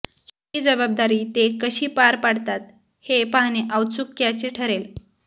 ही जबाबदारी ते कशी पार पडतात हे पाहणे औत्सुक्याचे ठरेल